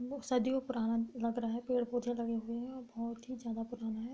बो सदियो पुराना लग रहा है पेड़-पौधे लगे हुए है औ बहोत ही जादा पुराना है।